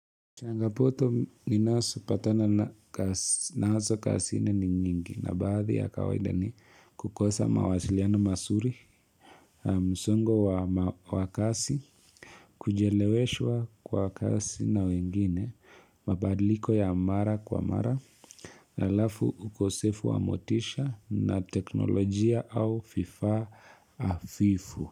Changapoto ni naso patana na naso kasini ni nyingi na baadhi ya kawaida ni kukosa mawasiliano masuri, msungo wa kasi, kujeleweshwa kwa kasi na wengine, mabadiliko ya mara kwa mara, la lafu ukosefu wa motisha na teknolojia au fifa afifu.